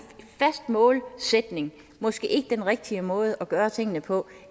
fast målsætning måske ikke den rigtige måde at gøre tingene på